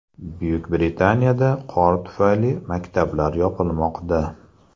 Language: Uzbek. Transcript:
Buyuk Britaniyada qor tufayli maktablar yopilmoqda .